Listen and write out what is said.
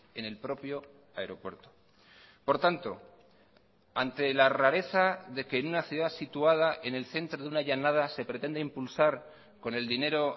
en el propio aeropuerto por tanto ante la rareza de que en una ciudad situada en el centro de una llanada se pretende impulsar con el dinero